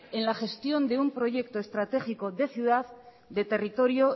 en la gestión de un proyecto estratégico de ciudad de territorio